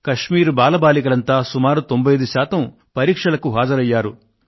కశ్మీర్ బాలబాలికలంతా సుమారు 95 శాతం పరీక్షలకు హాజరయ్యారు